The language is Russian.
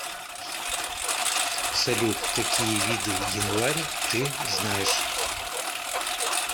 салют какие виды январь ты знаешь